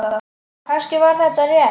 Kannski var þetta rétt.